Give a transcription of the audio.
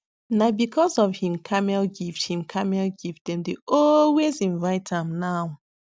na because of him camel gift him camel gift dem dey always invite am now